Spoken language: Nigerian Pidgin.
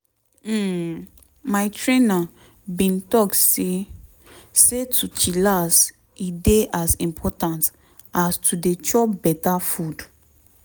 hmm my trainer bin talk say say to chillax e dey as important as to dey chop beta food.